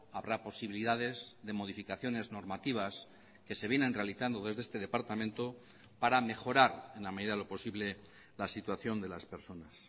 habrá posibilidades de modificaciones normativas que se vienen realizando desde este departamento para mejorar en la medida de lo posible la situación de las personas